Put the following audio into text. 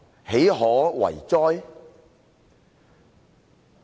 豈可為哉！